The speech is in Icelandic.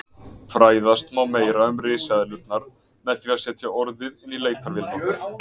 Fræðast má meira um risaeðlurnar með því að setja orðið inn í leitarvélina okkar.